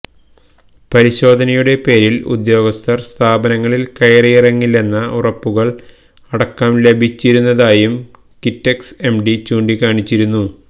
പരിശോധനയുടെ പേരിൽ ഉദ്യോഗസ്ഥർ സ്ഥാപനങ്ങളിൽ കയറിയിറങ്ങില്ലെന്ന ഉറപ്പുകൾ അടക്കം ലഭിച്ചിരുന്നതായും കിറ്റക്സ് എംഡി ചൂണ്ടിക്കാണിച്ചിരുന്നു